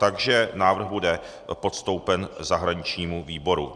Takže návrh bude postoupen zahraničnímu výboru.